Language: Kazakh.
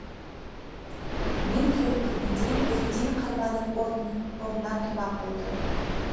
мен келіп кіргенде редин қарманып орнынан тұрмақ болды